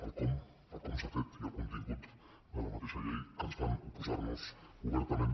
el com el com s’ha fet i el contingut de la mateixa llei que ens fan oposar noshi obertament